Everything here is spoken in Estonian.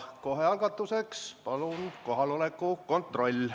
Kohe algatuseks palun kohaloleku kontroll.